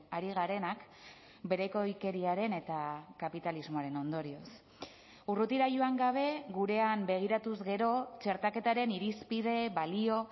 ari garenak berekoikeriaren eta kapitalismoaren ondorioz urrutira joan gabe gurean begiratuz gero txertaketaren irizpide balio